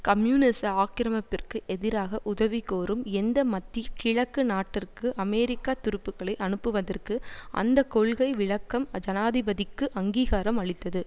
கம்யூனிச ஆக்கிரமிப்பிற்கு எதிராக உதவிகோரும் எந்த மத்தி கிழக்கு நாட்டிற்கு அமெரிக்கா துருப்புக்களை அனுப்புவதற்கு அந்த கொள்கை விளக்கம் ஜனாதிபதிக்கு அங்கீகாரம் அளித்தது